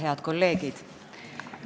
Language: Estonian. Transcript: Head kolleegid!